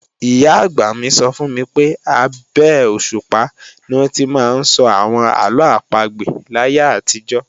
Ìyá-àgbà mi sọ fún mi pé, abé òṣùpá ni wọ́n ti máa ń sọ àwọn àlọ́ àpagbè láyé àtijọ́